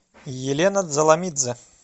елена дзаламидзе